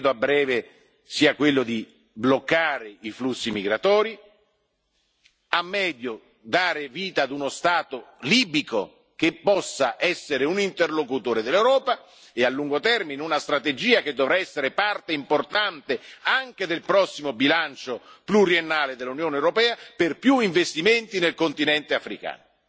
Io credo che a breve sia quello di bloccare i flussi migratori, a medio dare vita ad uno Stato libico che possa essere un interlocutore dell'Europa e, a lungo termine, una strategia che dovrà essere parte importante anche del prossimo bilancio pluriennale dell'Unione europea per più investimenti nel continente africano.